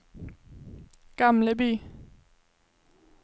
Gamleby